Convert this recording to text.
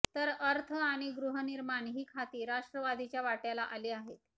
तर अर्थ आणि गृहनिर्माण ही खाती राष्ट्रवादीच्या वाट्याला आली आहेत